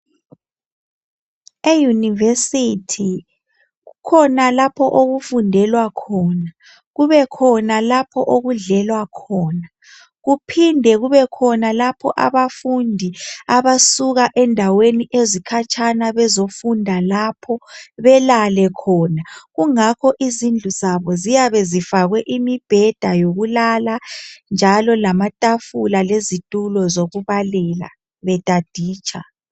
e university kukhona lapho okufundelwa khona kubekhona lapho okudlelwa khona kuphinde kubekhona lapho abafundi abasuka ezindaweni ezikhatshana bezofunda lapho belale khona kungakho izindlu zabo ziyabe zifakwe imibheda yokulala njalo lamatafula lezitulo zokubalela betaditsha